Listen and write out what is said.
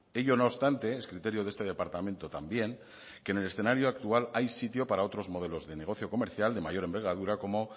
ello no obstante es criterio de este departamento también que en el escenario actual hay sitio para otros modelos de negocio comercial de mayor envergadura como